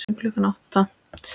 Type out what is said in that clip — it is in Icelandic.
Fyrir klukkan átta?